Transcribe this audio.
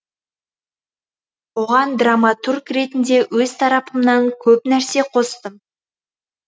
оған драматург ретінде өз тарапымнан көп нәрсе қостым